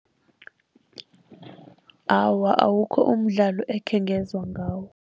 Awa, awukho umdlalo ekhengezwa ngawo.